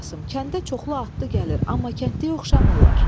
kəndə çoxlu atlı gəlir, amma kəndliyə oxşamırlar.